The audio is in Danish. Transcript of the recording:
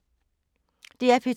DR P2